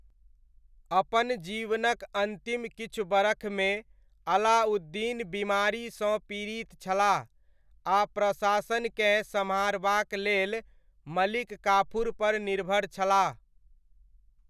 अपन जीवनक अन्तिम किछु बरखमे, अलाउद्दीन बिमारीसँ पीड़ित छलाह आ प्रशासनकेँ सम्हारबाक लेल मलिक काफूरपर निर्भर छलाह।